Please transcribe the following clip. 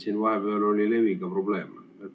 Siin vahepeal oli leviga probleeme.